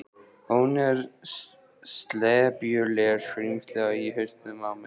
Hún er slepjulegt skrímsli í hausnum á mér.